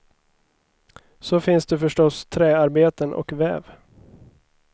Så finns det förstås träarbeten och väv.